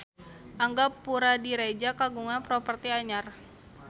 Angga Puradiredja kagungan properti anyar